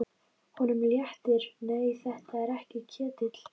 Honum léttir, nei, þetta er ekki Ketill.